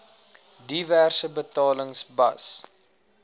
diverse betalings bas